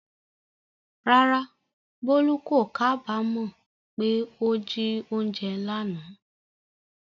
Rárá, Bolu kò kábàámọ̀ pé ó jí oúnjẹ lánàá.